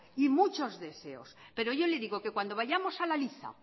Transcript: y muchos deseos pero yo le digo que cuando vayamos a la liza